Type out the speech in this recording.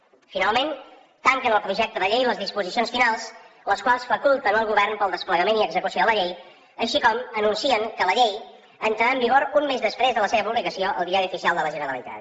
finalment tanquen el projecte de llei les disposicions finals les quals faculten el govern per al desplegament i execució de la llei així com anuncien que la llei entrarà en vigor un mes després de la seva publicació al diari oficial de la generalitat